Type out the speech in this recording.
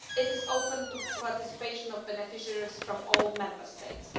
It is open to participation by beneficiaries from all Member States.